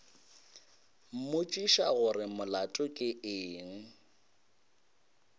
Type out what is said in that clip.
mmotšiša gore molato ke eng